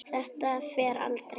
Þetta fer aldrei.